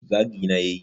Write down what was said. zagi na ya yi